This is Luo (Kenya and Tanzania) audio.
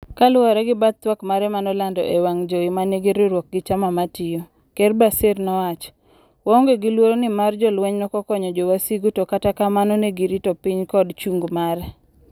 Kaluwore gi bath twak mare manolandi ewang' jowi manigi riwruok gi chama matiyo, Ker Bashir nowacho," waonge gi luoro nimar jolweny nokokonyo jowasigu to kata kamano negirito piny kod chung' mare.